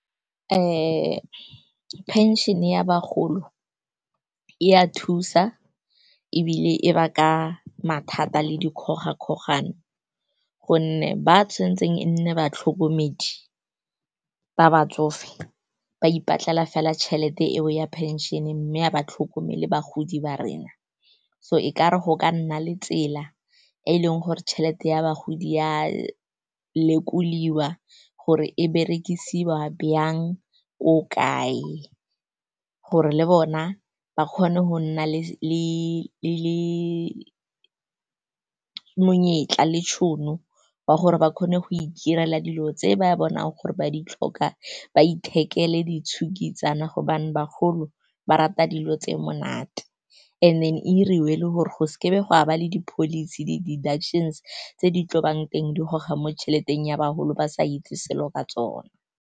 Phenšene ya bagolo e a thusa ebile e ba ka mathata le dikgogakgogano, gonne ba tshwantseng e nne batlhokomedi ba batsofe ba ipatlela fela tšhelete eo ya phenšene, mme a ba tlhokomele bagodi ba rena. So e kare go ka nna le tsela e e leng gore tšhelete ya bagodi ya lekoliwa gore e berekisiwa jang, ko kae, gore le bona ba kgone go nna le monyetla le tšhono ya gore ba kgone go itirela dilo tse ba bonang gore ba di tlhoka, ba ithekele ditshukitsana, gobane bagolo ba rata dilo tse monate. And then e diriwe le gore go seke ga ba le di-policy, di di-deductions tse di tlo bang teng, di goga mo tšheleteng ya bagolo, ba sa itse selo ka tsona.